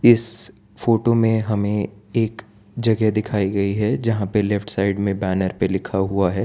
इस फोटो में हमें एक जगह दिखाई गई है जहां पे लेफ्ट साइड में बैनर पे लिखा हुआ है।